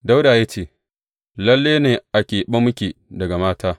Dawuda ya ce, Lalle ne a keɓe muke daga mata.